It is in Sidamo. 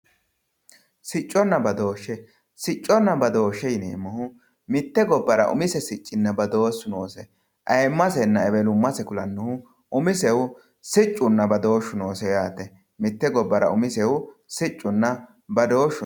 sicconna badooshshe ,sicconna badooshshe yineemmohu mitte gobbara umise siccinna badooshhsu noose ayeemmasenna ewelummase kulannohu umisehu siccunna badooshshu noose yaate mitte gobbara siccunna badooshhsu noose.